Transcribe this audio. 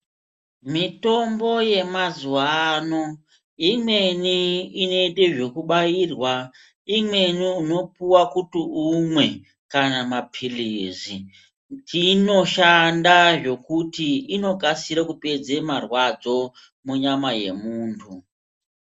Mitombo yemazuwaano, imweni inoite zvekubairwa, imweni unopuwa kuti umwe, kana maphilizi .Chiinoshanda zvokuti inokasire kupedze marwadzo munyama yemuntu.